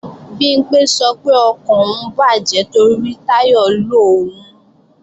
Bimpé sọ pé ọkàn òun bàjẹ́ torí Táyọ̀ lo òun